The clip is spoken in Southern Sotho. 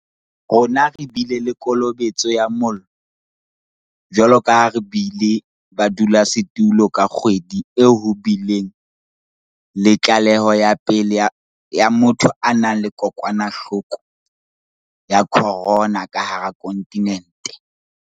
Rona re bile le kolobetso ya mollo, jwalo ka ha re bile badulasetulo ka kgwedi e ho bileng le tlaleho ya pele ya motho a nang le kokwanahloko ya corona ka hara kontinente.